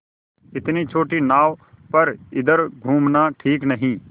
इतनी छोटी नाव पर इधर घूमना ठीक नहीं